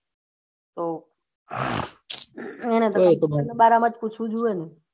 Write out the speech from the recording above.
હવ એને તો એના બારે માં જ પુછય જોયીયે